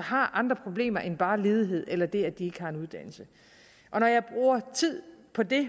har andre problemer end bare ledighed eller det at de ikke har en uddannelse når jeg bruger tid på det